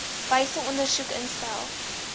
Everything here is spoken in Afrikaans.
wyse ondersoek instel